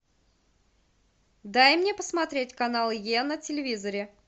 дай мне посмотреть канал е на телевизоре